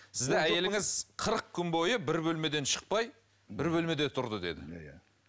сізді әйеліңіз қырық күн бойы бір бөлмеден шықпай бір бөлмеде тұрды деді иә